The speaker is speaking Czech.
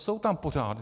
Jsou tam pořád!